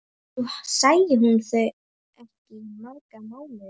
Nú sæi hún þau ekki í marga mánuði.